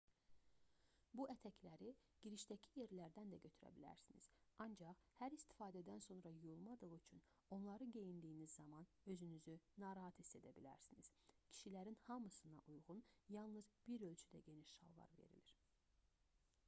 bu ətəkləri girişdəki yerlərdən də götürə bilərsiniz ancaq hər istifadədən sonra yuyulmadığı üçün onları geyindiyiniz zaman özünüzü narahat hiss edə bilərsiniz kişilərin hamısına uyğun yalnız bir ölçüdə geniş şalvar verilir